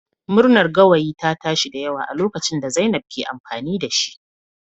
Murnar gawayi ta tashi da yawa a lokacin da zainab ke amfani da shi